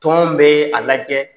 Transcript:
Tɔn bɛɛ a lajɛ